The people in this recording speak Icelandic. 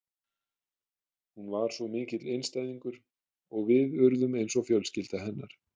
Hún var svo mikill einstæðingur og við urðum eins og fjölskylda hennar.